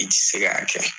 I ti se k'a kɛ